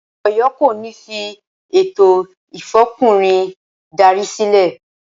Ọ̀yọ́ kò ní fi “ ètò Ìfọkùnrin darí” sílẹ̀.